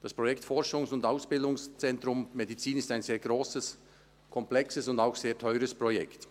Das Projekt Forschungs- und Ausbildungszentrum Medizin ist ein sehr grosses, komplexes und auch sehr teures Projekt.